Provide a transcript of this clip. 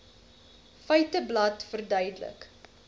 feiteblad verduidelik